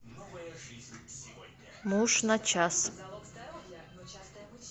муж на час